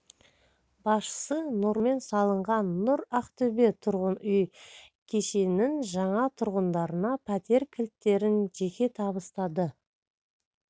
басшысы нұрлы жермен салынған нұр ақтөбе тұрғын үй кешенінің жаңа тұрғындарына пәтер кілттерін жеке табыстады